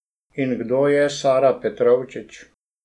In kdo je Sara Petrovčič?